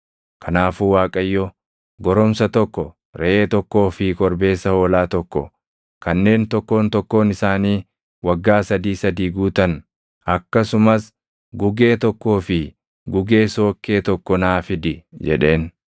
Kanaafuu Waaqayyo, “Goromsa tokko, reʼee tokkoo fi korbeessa hoolaa tokko kanneen tokkoon tokkoon isaanii waggaa sadii sadii guutan, akkasumas gugee tokkoo fi gugee sookkee tokko naa fidi” jedheen.